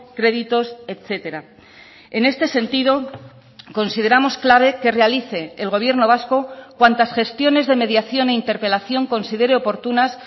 créditos etcétera en este sentido consideramos clave que realice el gobierno vasco cuantas gestiones de mediación e interpelación consideré oportunas